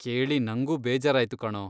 ಕೇಳಿ ನಂಗೂ ಬೇಜಾರಾಯ್ತು ಕಣೋ.